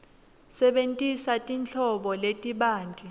sebentisa tinhlobo letibanti